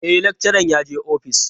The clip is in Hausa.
E, lakcharan yaje office.